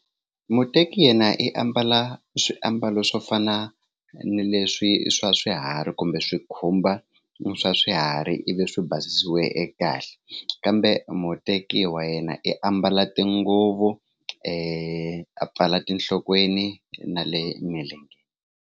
Muteki yena i ambala swiambalo swo fana na leswi swa swiharhi kumbe swi khumba swa swiharhi ivi swi basisiwe kahle kambe muteki wa yena i ambala tinguvu i a pfala tinhlokweni na le milenge.